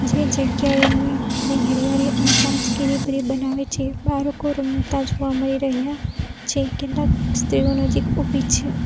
એ જગ્યાએ હરિયારી અને તાજગીરી ભરી બનાવે છે બાળકો રમતા જોવા મળી રહ્યા છે કેટલાક સ્ત્રીઓ નજીક ઉભી છે.